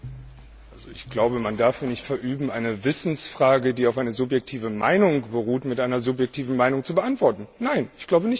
Ich glaube, man darf mir nicht verübeln, eine Wissensfrage, die auf einer subjektiven Meinung beruht, mit einer subjektiven Meinung zu beantworten. Nein, ich glaube nicht, dass sie